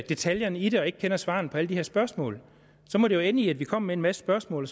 detaljerne i det og ikke kender svarene på alle de her spørgsmål så må det jo ende i at vi kommer med en masse spørgsmål